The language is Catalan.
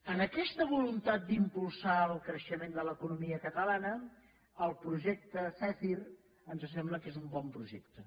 en aquesta voluntat d’impulsar el creixement de l’economia catalana el projecte zèfir ens sembla que és un bon projecte